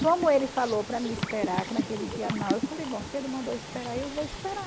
Como ele falou para mim esperar, que naquele dia não, eu falei, bom, se ele mandou esperar, eu vou esperar.